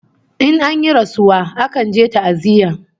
In an yi rasuwa akan je ta'aziyya